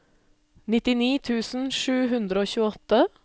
nittini tusen sju hundre og tjueåtte